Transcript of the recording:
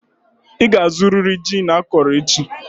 Ị ga-azụrịrị gin akọrọ echi!